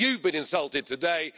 You've been insulted today.